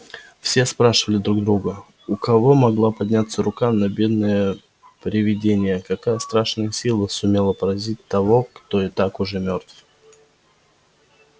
все спрашивали друг друга у кого могла подняться рука на бедное привидение какая страшная сила сумела поразить того кто и так уже мёртв